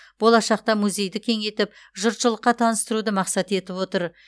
болашақта музейді кеңейтіп жұртшылыққа таныстыруды мақсат етіп отыр